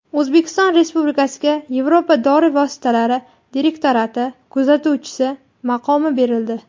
O‘zbekiston Respublikasiga Yevropa dori vositalari direktorati kuzatuvchisi maqomi berildi.